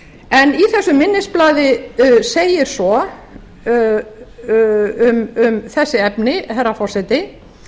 en í þessu minnisblaði segir svo um þessi efni herra forseti